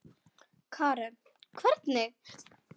Karen: Hvernig?